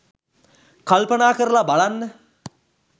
කල්පනා කරලා බලන්න